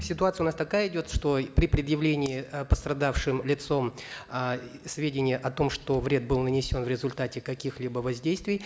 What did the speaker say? ситуация у нас такая идет что при предъявлении э пострадавшим лицом э сведений о том что вред был нанесен в результате каких либо воздействий